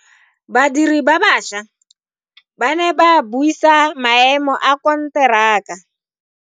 Badiri ba baša ba ne ba buisa maemo a konteraka.